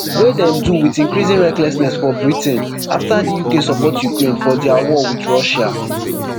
wey dem do wit increasing recklessness for britain afta di uk support ukraine for dia war wit russia